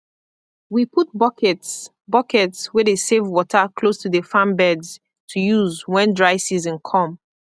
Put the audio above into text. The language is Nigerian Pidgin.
we put buckets buckets wey dey save water close to the farm beds to use when dry season come